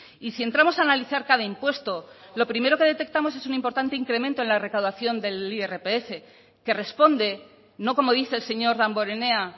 y si entramos a analizar cada impuesto lo primero que detectamos es un importante incremento en la recaudación del irpf que responde no como dice el señor damborenea